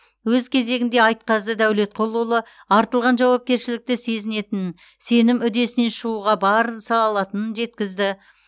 өз кезегінде айтқазы дәулетқұлұлы артылған жауапкершілікті сезінетінін сенім үдесінен шығуға барын салатынын жеткізді